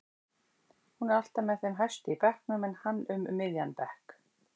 Hún er alltaf með þeim hæstu í bekknum en hann um miðjan bekk.